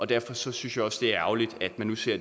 derfor synes jeg også det er ærgerligt at man nu ser